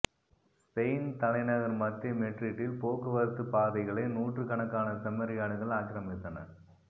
Spain தலைநகர் மத்திய மெட்ரிட்டில் போக்குவரத்து பாதைகளை நூற்றுக்கணக்கான செம்மறியாடுகள் ஆக்கிரமித்தன